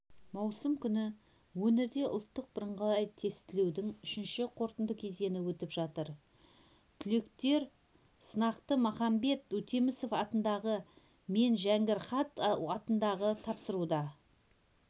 маусым күні өңірде ұлттық бірыңғай тестілеудің үшінші қорытынды кезеңі өтіп жатыр түлектер сынақты махамбет өтемісов атындағы мен жәңгір хат атындағы тапсыруда